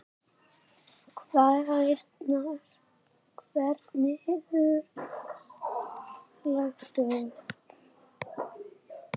Hvenær verður lagt upp?